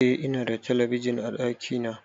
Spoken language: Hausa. Eh Ina da talabijin a ɗakina